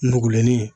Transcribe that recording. Nugulennin